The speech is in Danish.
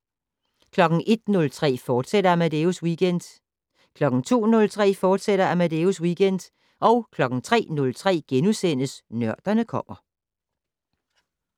01:03: Amadeus Weekend, fortsat 02:03: Amadeus Weekend, fortsat 03:03: Nørderne kommer *